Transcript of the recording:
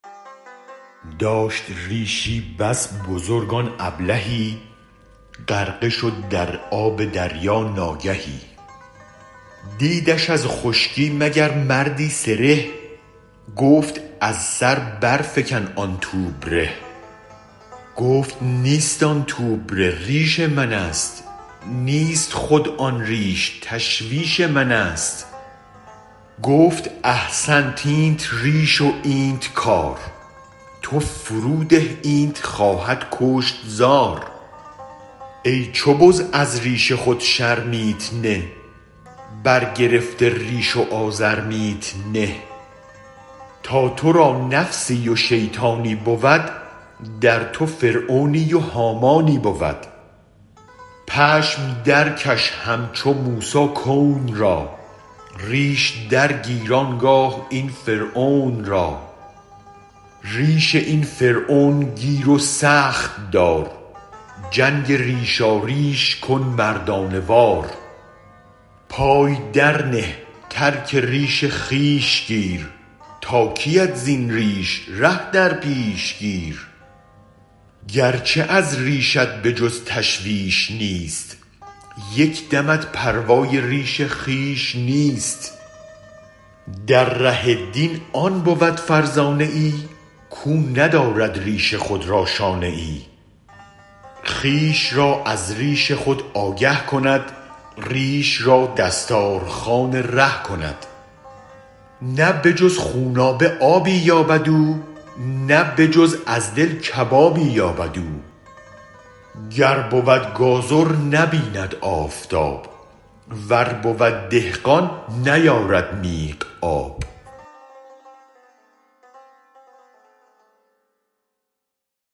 داشت ریشی بس بزرگ آن ابلهی غرقه شد در آب دریا ناگهی دیدش از خشکی مگر مردی سره گفت از سر برفکن آن توبره گفت نیست آن توبره ریش منست نیست خود این ریش تشویش منست گفت احسنت اینت ریش و اینت کار تو فروده اینت خواهد کشت زار ای چو بز از ریش خود شرمیت نه برگرفته ریش و آزرمیت نه تا ترا نفسی و شیطانی بود در تو فرعونی و هامانی بود پشم درکش همچو موسی کون را ریش گیر آنگاه این فرعون را ریش این فرعون گیر و سخت دار جنگ ریشاریش کن مردانه وار پای درنه ترک ریش خویش گیر تا کیت زین ریش ره در پیش گیر گرچه از ریشت به جز تشویش نیست یک دمت پروای ریش خویش نیست در ره دین آن بود فرزانه ای کو ندارد ریش خود را شانه ای خویش را از ریش خود آگه کند ریش را دستار خوان ره کند نه به جز خونابه آبی یابد او نه به جز از دل کبابی یابد او گر بود گازر نبیند آفتاب ور بود دهقان نیارد میغ آب